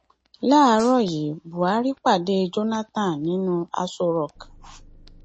láàárọ yìí buhari pàdé jonathan nínú aṣọ rock